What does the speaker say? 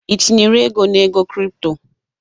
Ị tinyere ego na ego crypto?